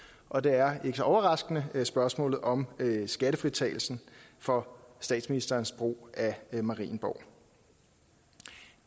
og det er ikke så overraskende spørgsmålet om skattefritagelsen for statsministerens brug af marienborg det